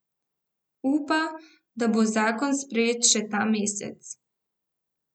Upa, da bo zakon sprejet še ta mesec.